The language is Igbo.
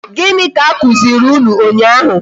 Gịnị ka a kụziri unu ụnyaahụ?